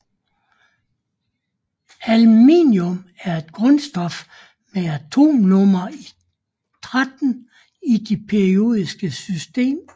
Aluminium er et grundstof med atomnummer 13 i det periodiske system